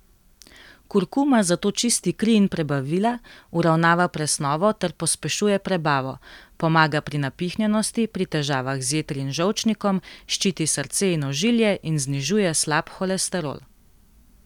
Kurkuma zato čisti kri in prebavila, uravnava presnovo ter pospešuje prebavo, pomaga pri napihnjenosti, pri težavah z jetri in žolčnikom, ščiti srce in ožilje in znižuje slab holesterol.